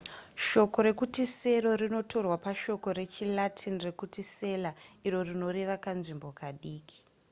shoko rekuti sero rinotorwa pashoko rechi latin rekuti cella iro rinoreva kanzvimbo kadiki